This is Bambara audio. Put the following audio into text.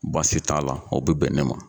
Baasi t'a la, o bɛ bɛn ne ma.